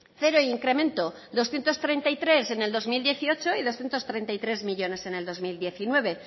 cero incremento doscientos treinta y tres en el dos mil dieciocho y doscientos treinta y tres millónes en el dos mil diecinueve